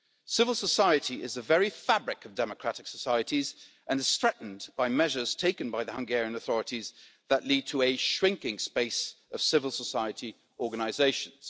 Civil society is the very fabric of democratic societies and is threatened by measures taken by the Hungarian authorities that lead to a shrinking space for civil society organisations.